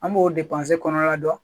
An b'o kɔnɔna dɔn